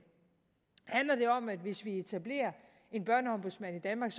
handler det om at hvis vi etablerer en børneombudsmand i danmark